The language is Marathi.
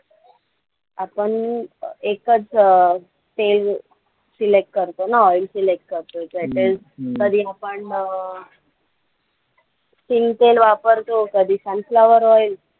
आपण एकचं अं तेल select करतो ना oil select करतो कधी आपण अं शेंग तेल वापरतो कधी sunflower oil